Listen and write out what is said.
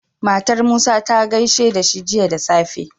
Matar musa ta gaishe dashi Jiya da safe